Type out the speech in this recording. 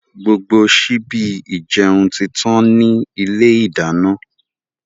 Gbogbo síbi ìjẹun títàn ni ilé ìdáná.